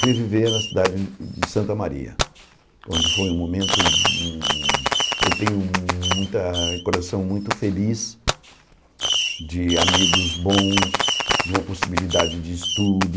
Fui viver na cidade de de Santa Maria, onde foi um momento... Eu tenho muita coração muito feliz de amigos bons, de uma possibilidade de estudo,